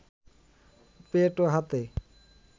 পেট ও হাতে